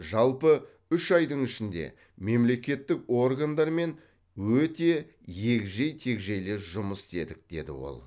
жалпы үш айдың ішінде мемлекеттік органдармен өте егжей тегжейлі жұмыс істедік деді ол